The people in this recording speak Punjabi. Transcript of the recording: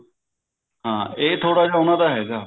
ਹਾਂ ਇਹ ਥੋੜਾ ਉਹਨਾਂ ਦਾ ਹੈਗਾ